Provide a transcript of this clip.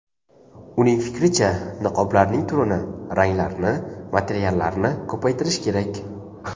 Uning fikricha, niqoblarning turini, ranglarini, materiallarini ko‘paytirish kerak.